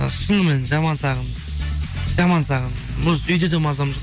і шынымен жаман сағындым жаман сағындым осы үйде де мазам